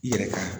I yɛrɛ ka